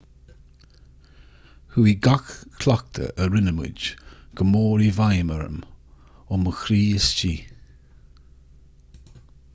chuaigh gach cleachtadh a rinne muid go mór i bhfeidhm orm ó mo chroí istigh